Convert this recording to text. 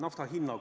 Aitäh!